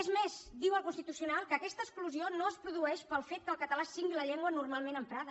és més diu el constitucional que aquesta exclusió no es produeix pel fet que el català sigui la llengua normalment emprada